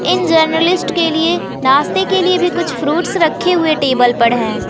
इन journalist के लिए नाश्ते के लिए भी कुछ फ्रूट्स रखे हुए टेबल पड़ हैं।